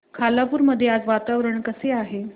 खालापूर मध्ये आज वातावरण कसे आहे